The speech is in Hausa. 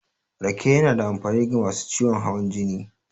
Rake yana da amfani ga masu ciwon hawan jini.